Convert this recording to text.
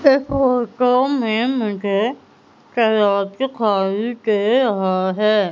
ये फोटो में मुझे तालाब दिखाई दे रहा है।